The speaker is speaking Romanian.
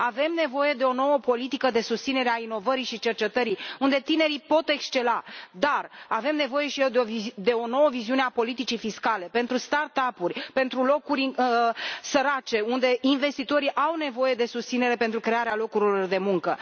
Avem nevoie de o nouă politică de susținere a inovării și cercetării, unde tinerii pot excela, dar avem nevoie și de o nouă viziune a politicii fiscale pentru start up uri, pentru locuri sărace, unde investitorii au nevoie de susținere pentru crearea locurilor de muncă.